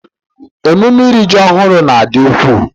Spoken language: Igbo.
Emume iri ji ọhụrụ n'adị ukwuu